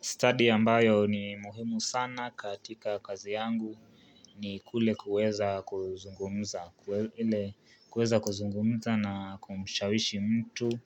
Study ambayo ni muhimu sana katika kazi yangu ni kule kuweza kuzungumza kuweza kuzungumza na kumshawishi mtu